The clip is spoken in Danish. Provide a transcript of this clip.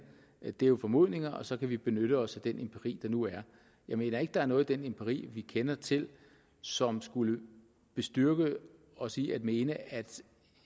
det er jo formodninger og så kan vi benytte os af den empiri der nu er jeg mener ikke at der er noget i den empiri vi kender til som skulle bestyrke os i at mene at